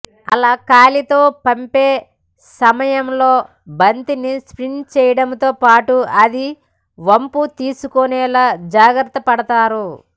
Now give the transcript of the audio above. అలా కాలితో పంపే సమయంలో బంతిని స్పిన్ చేయడంతో పాటు అది వంపు తీసుకునేలా జాగ్రత్తపడతారు